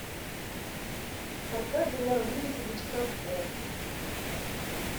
аркадий лаврентьевич катков